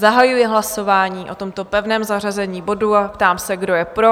Zahajuji hlasování o tomto pevném zařazení bodu a ptám se, kdo je pro?